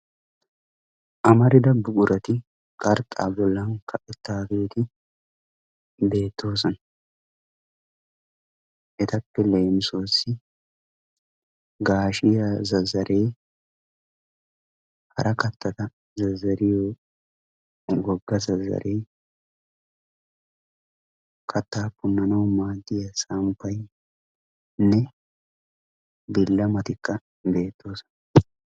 amarida buqurati qarxxaa bollan kaqettaageeti beettoosona. etappe leemisuwaassi gaashiya zazaree, hara kattata zazariyo wogga zazaree, kattaa punnanawu maaddiya samppaynne billamatikka beettoosona.